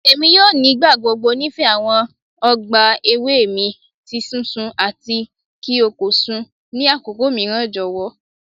Emi yoo nigbagbogbo nifẹ awọn ọgba ewe mi ti sisun ati ki o ko sun ni akoko miiran jọwọ